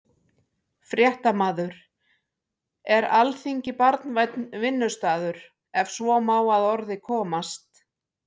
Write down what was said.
Fréttamaður: Er Alþingi barnvænn vinnustaður, ef svo má að orði komast?